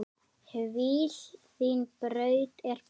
Hvíl, þín braut er búin.